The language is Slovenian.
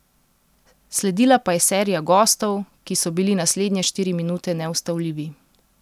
Sledila pa je serija gostov, ki so bili naslednje štiri minute neustavljivi.